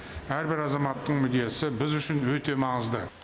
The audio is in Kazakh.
әрбір азаматтың мүддесі біз үшін өте маңызды